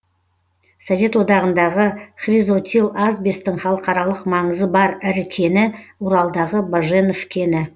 совет одағындағы хризотил асбестің халықаралық маңызы бар ірі кені уралдағы баженов кені